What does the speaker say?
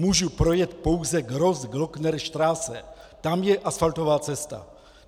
Můžu pouze projet Grossglocknerstrasse, tam je asfaltová cesta.